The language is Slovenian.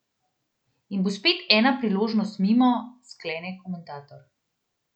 In bo spet ena priložnost mimo, sklene komentator.